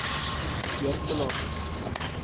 Jørpeland